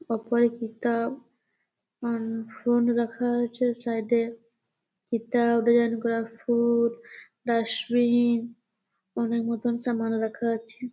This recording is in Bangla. উপরে কিতাব আ ফোন রাখা আছে। সাইড এ কিতাব ডিজাইন করা ফুল ডাস্টবিন অনেক মতন সামাল রাখা আছে--